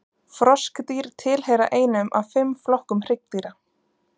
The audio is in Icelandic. Froskdýr tilheyra einum af fimm flokkum hryggdýra.